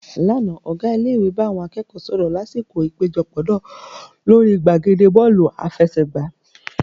Lánàá, Ọ̀gá ilé ìwé bá àwọn akẹ́kọ̀ọ́ sọ̀rọ̀ lásìkò ìpéjọpọ̀ náà lórí gbàgede Bọ́ọ̀lù àfẹsẹ̀gbá